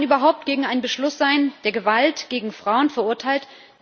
Kann man überhaupt gegen einen Beschluss sein, der Gewalt gegen Frauen verurteilt?